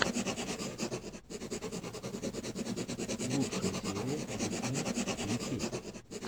лучшая серия дисней ю кей